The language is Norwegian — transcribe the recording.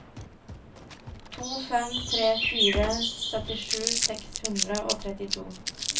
to fem tre fire syttisju seks hundre og trettito